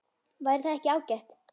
Væri það ekki ágætt?